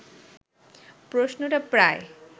প্রশ্নটা প্রায়